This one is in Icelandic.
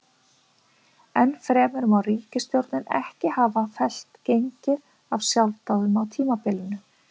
Enn fremur má ríkisstjórnin ekki hafa fellt gengið af sjálfsdáðum á tímabilinu.